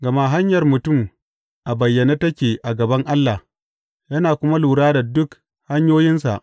Gama hanyar mutum a bayyane take a gaban Ubangiji, yana kuma lura da dukan hanyoyinsa.